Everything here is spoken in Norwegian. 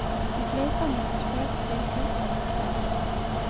De fleste er importert trekull fra løvtrær.